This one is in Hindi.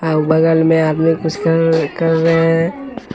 और बगल में आदमी कुछ कर कर रहे हैं।